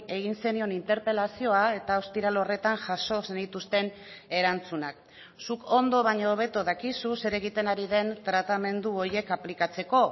egin zenion interpelazioa eta ostiral horretan jaso zenituzten erantzunak zuk ondo baino hobeto dakizu zer egiten ari den tratamendu horiek aplikatzeko